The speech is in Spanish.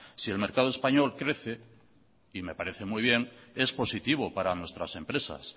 si el mercado español crece y me parece muy bien es positivo para nuestras empresas